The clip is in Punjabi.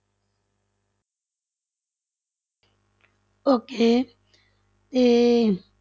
Okay ਤੇ